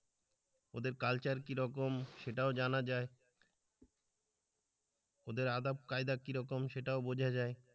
ওদের কালচার কীরকম সেটাও জানা যায় ওদের আদব কায়দা কিরকম সেটাও বোঝা যায়।